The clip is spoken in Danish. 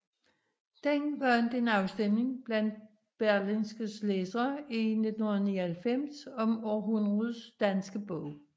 Den vandt en afstemning blandt Berlingskes læsere i 1999 om Århundredets danske bog